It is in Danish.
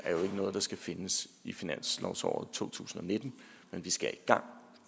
noget der skal findes i finansåret to tusind og nitten men vi skal i gang